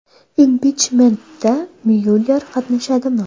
Impichmentda Myuller qatnashadimi?